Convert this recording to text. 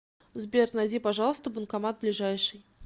сбер найди пожалуйста банкомат ближайший